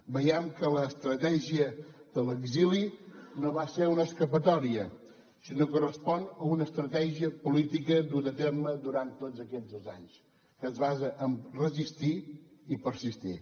veiem que l’estratègia de l’exili no va ser una escapatòria sinó que respon a una estratègia política duta a terme durant tots aquests dos anys que es basa en resistir i persistir